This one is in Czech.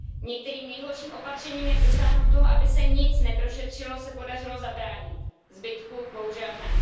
Některým nejhorším opatřením jak dosáhnout toho, aby se nic neprošetřilo, se podařilo zabránit, zbytku bohužel ne.